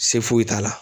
Se foyi t'a la